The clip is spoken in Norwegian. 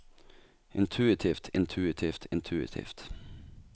intuitivt intuitivt intuitivt